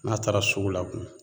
N'a taara sugu la